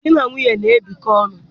Di na nwunye na-ebikọ ọnụ.